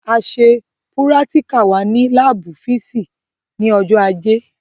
A ṣe púrátíkà wa ní láábù físììsì ní ọjọ́ ajé